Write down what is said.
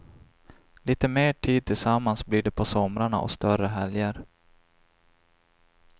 Lite mer tid tillsammans blir det på somrarna och större helger.